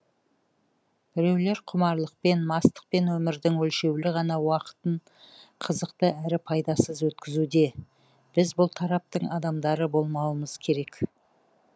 біреулер құмарлықпен мастықпен өмірдің өлшеулі ғана уақытын қызықты әрі пайдасыз өткізуде біз бұл тараптың адамдары болмаумыз керек